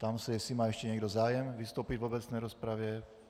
Ptám se, jestli má ještě někdo zájem vystoupit v obecné rozpravě.